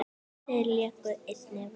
Þeir léku einnig vel.